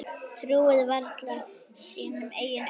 Trúði varla sínum eigin augum.